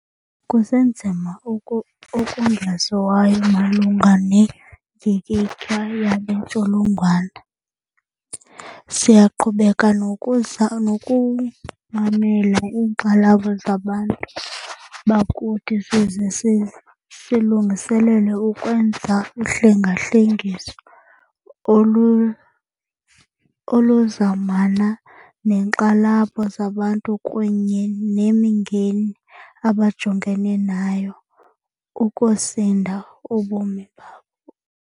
Kusenzima okungaziwayo malunga nendyikityha yale ntsholongwane. Siyaqhubeka nokumamela iinkxalabo zabantu bakuthi size silungiselele ukwenza uhlengahlengiso oluzamana neenkxalabo zabantu kunye nemingeni abajongene nayo ukusinda ubomi babo.